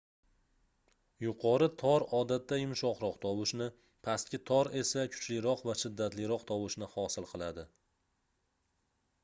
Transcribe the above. yuqori tor odatda yumshoqroq tovushni pastki tor esa kuchliroq va shiddatliroq tovushni hosil qiladi